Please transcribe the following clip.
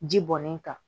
Ji bɔnnen kan